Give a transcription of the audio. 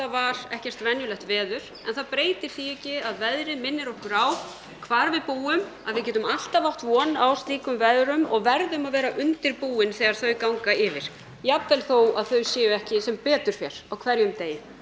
var ekkert venjulegt veður en það breytir því ekki að veðrið minnir okkur á hvar við búum að við getum alltaf átt von á slíkum veðrum og verðum að vera undirbúin þegar þau ganga yfir jafnvel þótt þau séu ekki sem betur fer á hverjum degi